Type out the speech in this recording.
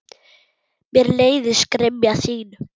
Mér leiðist gremja þín.